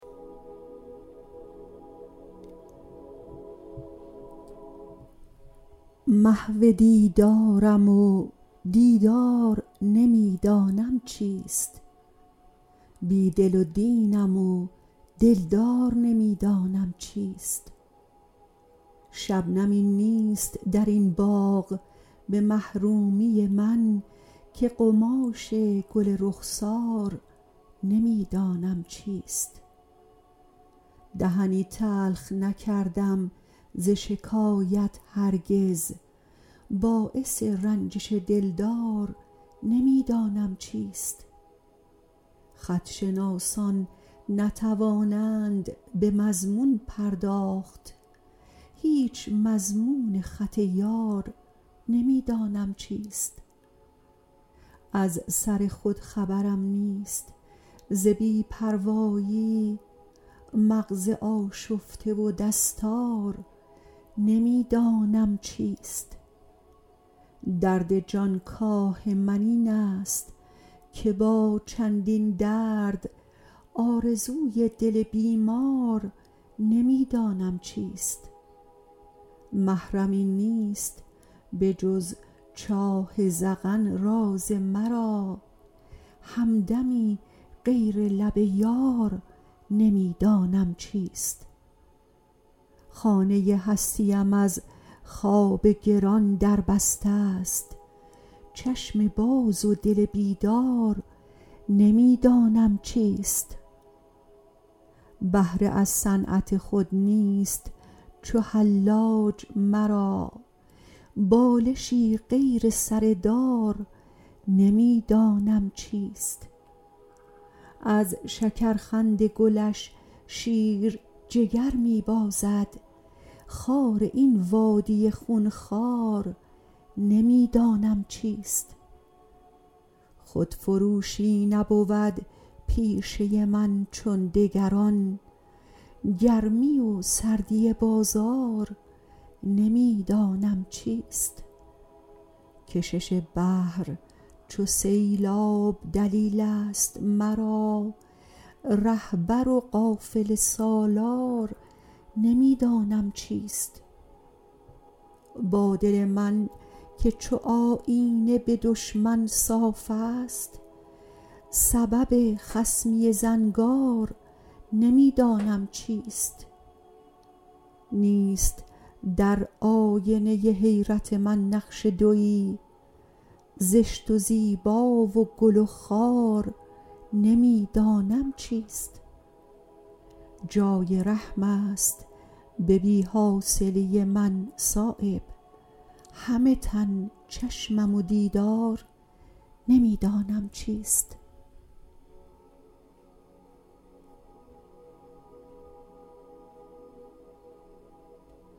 محو دیدارم و دیدار نمی دانم چیست بی دل و دینم و دلدار نمی دانم چیست شبنمی نیست درین باغ به محرومی من که قماش گل رخسار نمی دانم چیست دهنی تلخ نکردم ز شکایت هرگز باعث رنجش دلدار نمی دانم چیست خط شناسان نتوانند به مضمون پرداخت هیچ مضمون خط یار نمی دانم چیست از سر خود خبرم نیست ز بی پروایی مغز آشفته و دستار نمی دانم چیست درد جانکاه من این است که با چندین درد آرزوی دل بیمار نمی دانم چیست محرمی نیست به جز چاه ذقن راز مرا همدمی غیر لب یار نمی دانم چیست خانه هستیم از خواب گران دربسته است چشم باز و دل بیدار نمی دانم چیست بهره از صنعت خود نیست چو حلاج مرا بالشی غیر سر دار نمی دانم چیست از شکرخند گلش شیر جگر می بازد خار این وادی خونخوار نمی دانم چیست خودفروشی نبود پیشه من چون دگران گرمی و سردی بازار نمی دانم چیست کشش بحر چو سیلاب دلیل است مرا رهبر و قافله سالار نمی دانم چیست با دل من که چو آیینه به دشمن صاف است سبب خصمی زنگار نمی دانم چیست نیست در آینه حیرت من نقش دویی زشت و زیبا و گل و خار نمی دانم چیست جای رحم است به بی حاصلی من صایب همه تن چشمم و دیدار نمی دانم چیست